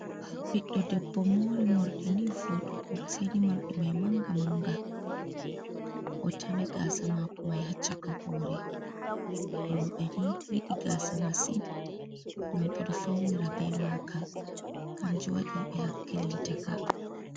Ɓiddo debbo mori mordi ni vudugo, seini morɗi mai manga manga o tami gasa mako mai ha caka hore, roɓe ni yiɗi gasa masin ngam ɓe ɗo faunira be maka kanjum wadi ɓe hakkilinta ka.